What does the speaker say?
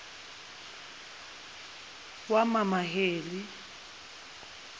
wamamaheli